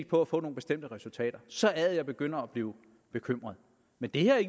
på at få nogle bestemte resultater så er det at jeg begynder at blive bekymret men det her er